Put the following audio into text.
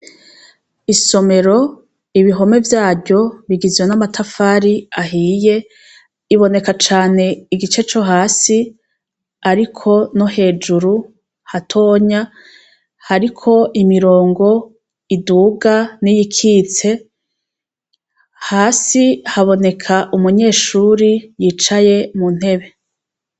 Isomero, ibihome vyaryo bigizwe n' amatafar' ahiy' iboneka can' igice co hasi, ariko no hejuru hatonya, hariko imirongo iduga n' iyikitse, hasi habonek' umunyeshure yicaye mu ntebe.